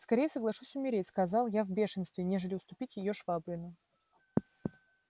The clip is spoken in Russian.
скорее соглашусь умереть сказал я в бешенстве нежели уступить её швабрину